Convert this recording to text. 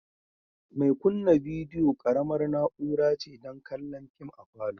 Mai kunna bidiyo ƙaramar na'ura ce don kallon fim a palour